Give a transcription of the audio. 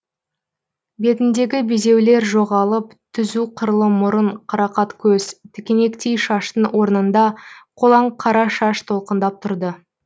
бетіндегі безеулер жоғалып түзу қырлы мұрын қарақат көз тікенектей шаштың орнында қолаң қара шаш толқындап тұрды